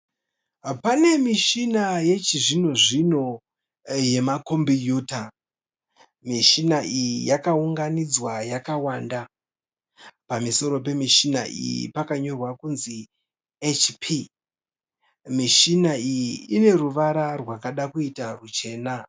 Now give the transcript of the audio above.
Pane mishona yechizvino zvino yema kombiyuta. Mushina iyi yakaunganidzwa yakawanda. Pamusoro pemishina iyi pakanyorwa kunzi HP. Mishina iyi ine ruvara rwakada kuita rwuchena.